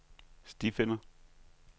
stifinder